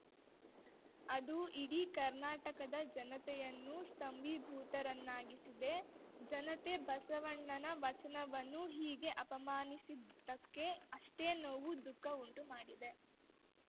ಅದು ಇಡೀ ಕರ್ನಾಟಕದ ಜನತೆಯನ್ನು ಸ್ತಂಭೀಭೂತರನ್ನಾಗಿಸಿದೆ ಜನತೆ ಬಸವಣ್ಣನ ವಚನವನ್ನು ಹೀಗೆ ಅವಮಾನಿಸಿದ್ದಕ್ಕೆ ಅಷ್ಟೇ ನೋವು ದುಃಖ ಉಂಟು ಮಾಡಿದೆ